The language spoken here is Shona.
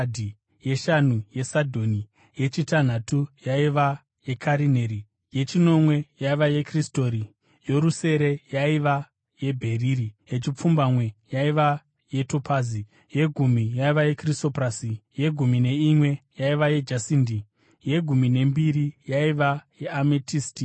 yeshanu yesadhonikisi, yechitanhatu yaiva yekarineri yechinomwe yaiva yekrisoriti, yorusere yaiva yebheriri, yepfumbamwe yaiva yetopazi, yegumi yaiva yekrisoprasi, yegumi neimwe yaiva yejasindi, yegumi nembiri yaiva yeametisti.